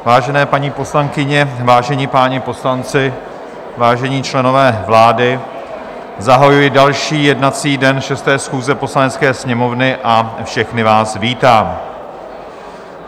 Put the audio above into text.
Vážené paní poslankyně, vážení páni poslanci, vážení členové vlády, zahajuji další jednací den 6. schůze Poslanecké sněmovny a všechny vás vítám.